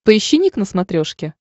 поищи ник на смотрешке